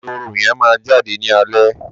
ehoro yẹn máa jáde ní alẹ́